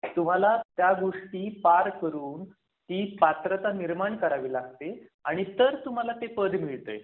तुम्हाला त्या गोष्टी पार करून ती पात्रता निर्माण करावी लागते आणि तर तुम्हाला ते पद मिळतय.